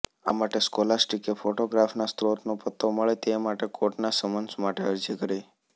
આ માટે સ્કોલાસ્ટીકે ફોટોગ્રાફના સ્ત્રોતનો પત્તો મળે તે માટે કોર્ટના સમન્સ માટે અરજી કરી